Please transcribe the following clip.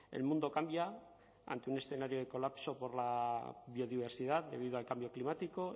el mundo cambia ante un escenario de colapso por la biodiversidad debido al cambio climático